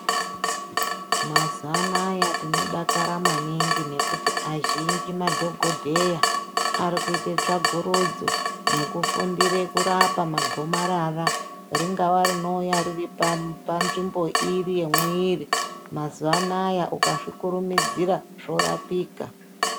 Mazuwa anaya tinodakara maningi nekuti azhinji madhokodheya ari kuite tsvakurudzo nekufundire kurapa magomarara ringawa rinouya riri pamu panzvimbo iri yemwiri mazuwa anya ukazvikurumidzira zvorapika.